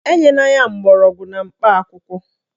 Enyela ya mgbọrọgwụ na mkpa akwụkwọ